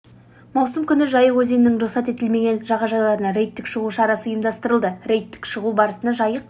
маусым күні жайық өзенінің рұқсат етілмген жағажайларына рейдтік шығу шарасы ұйымдастырылды рейдтік шығу барысында жайық